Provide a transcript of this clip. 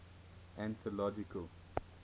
anthological